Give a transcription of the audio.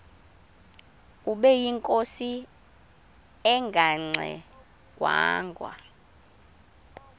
ubeyinkosi engangxe ngwanga